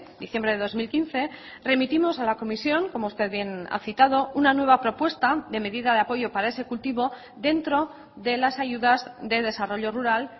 diciembre de dos mil quince remitimos a la comisión como usted bien ha citado una nueva propuesta de medida de apoyo para ese cultivo dentro de las ayudas de desarrollo rural